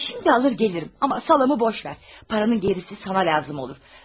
Çörəyi indi alıb gələrəm, amma kolbasanı boş ver, pulun qalanı sənə lazım olar.